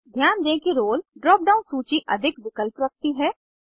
ध्यान दें कि रोल ड्राप डाउन सूची अधिक विकल्प रखती है